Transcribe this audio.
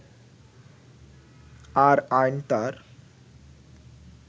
আর আইন তার